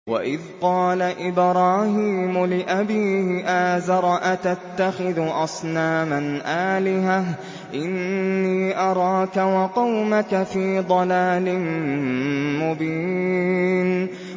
۞ وَإِذْ قَالَ إِبْرَاهِيمُ لِأَبِيهِ آزَرَ أَتَتَّخِذُ أَصْنَامًا آلِهَةً ۖ إِنِّي أَرَاكَ وَقَوْمَكَ فِي ضَلَالٍ مُّبِينٍ